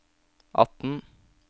atten